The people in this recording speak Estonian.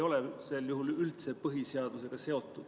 See debatt ei ole sel juhul üldse põhiseadusega seotud.